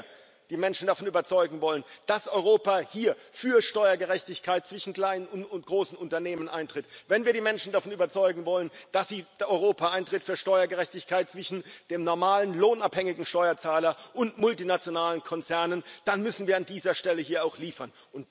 Und wenn wir die Menschen davon überzeugen wollen, dass Europa hier für Steuergerechtigkeit zwischen kleinen und großen Unternehmen eintritt, wenn wir die Menschen davon überzeugen wollen, dass Europa für Steuergerechtigkeit zwischen dem normalen lohnabhängigen Steuerzahler und multinationalen Konzernen eintritt, dann müssen wir an dieser Stelle auch liefern.